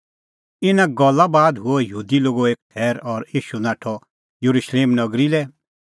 इना गल्ला बाद हुअ यहूदी लोगो एक थैर और ईशू नाठअ येरुशलेम नगरी लै